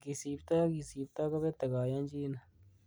Ingisipto ak kisibto kibete koyonyinet.